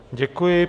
Děkuji.